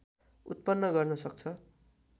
उत्पन्न गर्न सक्छ